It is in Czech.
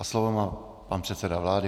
A slovo má pan předseda vlády.